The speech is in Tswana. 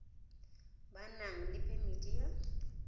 ba nang le phemiti ya